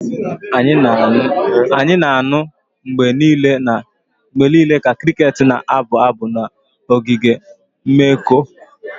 Anyị na-anụ mgbe niile ka crickets na-abụ abụ n'oge oge mmekọ